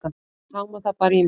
Ég háma það bara í mig.